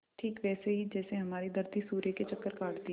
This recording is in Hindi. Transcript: ठीक वैसे ही जैसे हमारी धरती सूर्य के चक्कर काटती है